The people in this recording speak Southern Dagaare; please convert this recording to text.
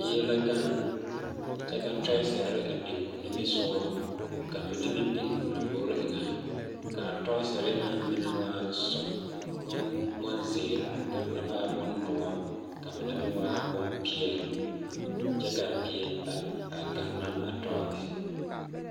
Bie la gaŋe kyԑ ka tͻͻsere mine biŋ o nimisogͻ ka a mine meŋ biŋ o lambori eŋԑ, ka a tͻͻsere na mine waa sͻg, boŋ bonzeere, ka a mine meŋ dõͻre, ka a mine meŋ waa bompeԑle kyԑ ka a bie a a gaŋe ne a tͻͻse.